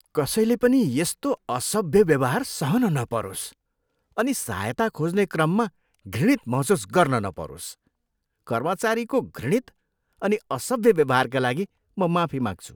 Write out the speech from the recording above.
कसैले पनि यस्तो असभ्य व्यवहार सहन नपरोस् अनि सहायता खोज्ने क्रममा घृणित महसुस गर्न नपरोस्। कर्मचारीको घृणित अनि असभ्य व्यवहारका लागि म माफी माग्छु।